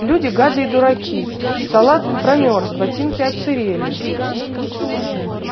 люди гады и дураки салат промёрз ботинки отсырели